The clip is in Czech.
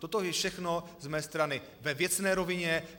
Toto je všechno z mé strany ve věcné rovině.